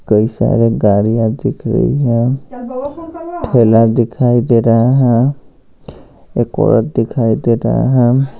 कई सारे गाड़ियां दिख रही हैं ठेला दिखाई दे रहा है एक औरत दिखाई दे रहे हैं हम--